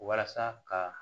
Walasa ka